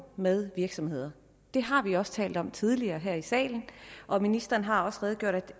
med virksomhederne det har vi også talt om tidligere her i salen og ministeren har også redegjort